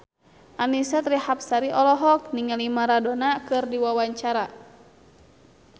Annisa Trihapsari olohok ningali Maradona keur diwawancara